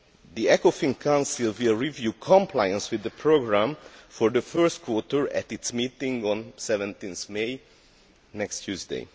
The Ecofin Council will review compliance with the programme for the first quarter at its meeting on 17 May, next Tuesday.